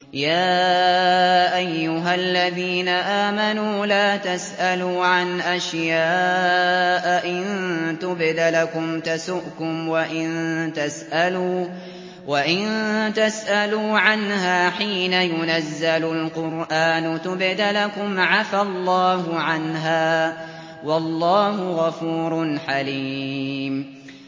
يَا أَيُّهَا الَّذِينَ آمَنُوا لَا تَسْأَلُوا عَنْ أَشْيَاءَ إِن تُبْدَ لَكُمْ تَسُؤْكُمْ وَإِن تَسْأَلُوا عَنْهَا حِينَ يُنَزَّلُ الْقُرْآنُ تُبْدَ لَكُمْ عَفَا اللَّهُ عَنْهَا ۗ وَاللَّهُ غَفُورٌ حَلِيمٌ